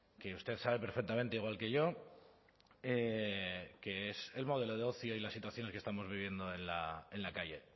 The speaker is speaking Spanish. que usted sabe perfectamente igual que yo que es el modelo de ocio y la situación en la que estamos viviendo en la calle